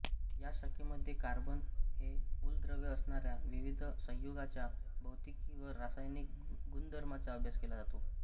या शाखेमध्ये कार्बन हे मूलद्रव्य असणाऱ्या विविध संयुगांच्या भौतिकी व रासायनिक गुणधर्मांचा अभ्यास केला जातो